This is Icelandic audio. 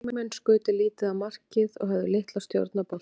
Leikmenn skutu lítið á markið og höfðu litla stjórn á boltanum.